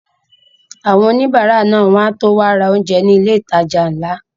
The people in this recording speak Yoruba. Àwọn òníbárà náà wọ́n á tó wá ra oúnjẹ ní ilé ìtajà ńlá